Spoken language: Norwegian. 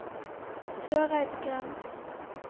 Søreidgrend